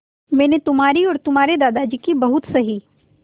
मैंने तुम्हारी और तुम्हारे दादाजी की बहुत सही